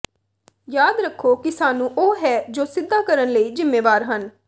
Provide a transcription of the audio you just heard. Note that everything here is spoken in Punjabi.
ਯਾਦ ਰੱਖੋ ਕਿ ਸਾਨੂੰ ਉਹ ਹੈ ਜੋ ਸਿਧਾ ਕਰਨ ਲਈ ਜ਼ਿੰਮੇਵਾਰ ਹਨ